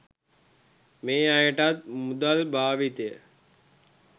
මේ අයටත් මුදල් භාවිතය